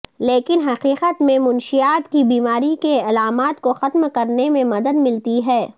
لیکن حقیقت میں منشیات کی بیماری کے علامات کو ختم کرنے میں مدد ملتی ہے